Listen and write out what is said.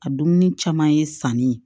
A dumuni caman ye sanni ye